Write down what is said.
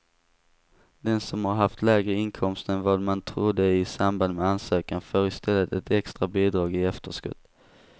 Den som har haft lägre inkomster än vad man trodde i samband med ansökan får i stället ett extra bidrag i efterskott.